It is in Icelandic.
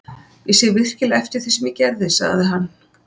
Ég sé virkilega eftir því sem ég gerði, sagði hann.